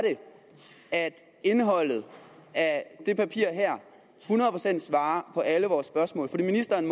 at indholdet af det papir her hundrede procent svarer på alle vores spørgsmål ministeren